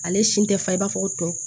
Ale si tɛ fa i b'a fɔ ko tɔ